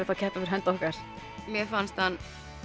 að keppa fyrir hönd okkar mér fannst hann